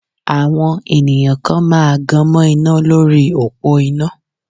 Àwọn ènìyàn kan máa gan mọ́ iná lórí òpó iná.